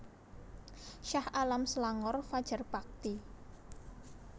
Shah Alam Selangor Fajar Bakti